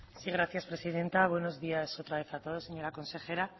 gracias presidenta buenos días otra vez a todos señora consejera